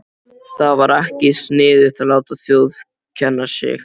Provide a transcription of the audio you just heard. Það var ekkert sniðugt að láta þjófkenna sig.